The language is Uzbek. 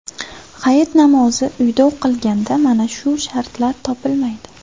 Hayit namozi uyda o‘qilganda mana shu shartlar topilmaydi.